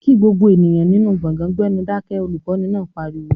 "Kí gbogbo ènìyàn nínú gbọ̀gán gbẹ́nú Dákẹ́!", olùkọ́ni náà pariwo